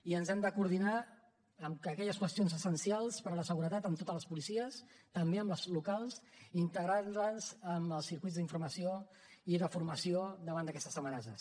i ens hem de coordinar en aquelles qüestions essencials per a la seguretat amb totes les policies també amb les locals integrant les en els circuits d’informació i de formació davant d’aquestes amenaces